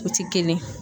O ti kelen ye